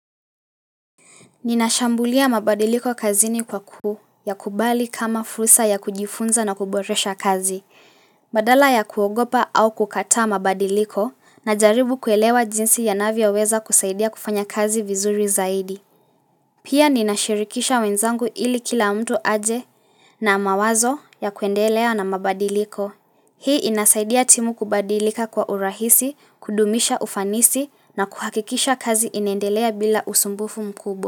Ninashambulia mabadiliko kazini kwa kuu ya kubali kama fursa ya kujifunza na kuboresha kazi. Badala ya kuogopa au kukata mabadiliko najaribu kuelewa jinsi yanavio weza kusaidia kufanya kazi vizuri zaidi. Pia ninashirikisha wenzangu ili kila mtu aje na mawazo ya kuendelea na mabadiliko. Hii inasaidia timu kubadilika kwa urahisi, kudumisha ufanisi na kuhakikisha kazi inendelea bila usumbufu mkubwa.